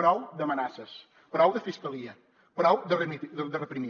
prou d’amenaces prou de fiscalia prou de reprimir